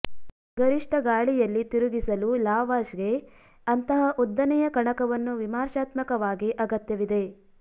ಗರಿಷ್ಟ ಗಾಳಿಯಲ್ಲಿ ತಿರುಗಿಸಲು ಲಾವಾಶ್ಗೆ ಅಂತಹ ಉದ್ದನೆಯ ಕಣಕವನ್ನು ವಿಮರ್ಶಾತ್ಮಕವಾಗಿ ಅಗತ್ಯವಿದೆ